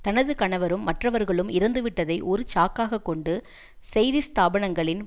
தனது கணவரும் மற்றவர்களும் இறந்துவிட்டதை ஒரு சாக்காகக்கொண்டு செய்திஸ்தாபனங்களின்